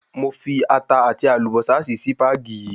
Mo fi ata àti àlùbósà sí Sípàgì yìí